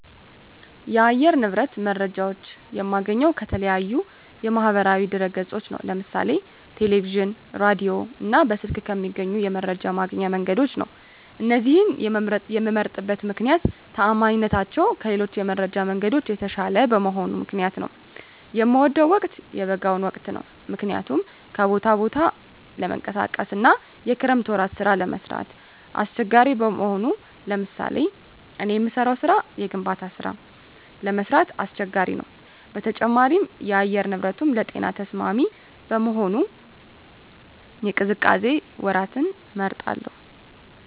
የአየር ንብረት መረጃዎች የማገኘው ከተለያዩ የማህበራዊ ድህረገጾች ነው ለምሳሌ ቴለቪዥን ራዲዮ እና በስልክ ከሚገኙ የመረጃ ማግኛ መንገዶች ነው እነዚህን የመምመርጥበት ምክነያት ተአማኒነታቸው ከሌሎች የመረጃ መንገዶች የተሻለ በመሆኑ ምክንያት ነው። የምወደው ወቅት የበጋውን ወቅት ነው ምክንያቱም ከቦታ ወደ ቦታ ለመንቀሳቀስ አና የክረምት ወራት ስራ ለመስራት አሳቸጋሪ በመሆኑ ለምሳሌ እኔ የምሰራው ስራ የግንባታ ስራ ለመስራት አስቸጋሪ ነው በተጨማሪም የአየር ንብረቱንም ለጤና ተስማሚ በመሆኑ የቅዝቃዜ ወራትን እመርጣለሁ